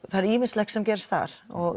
það er ýmislegt sem gerist þar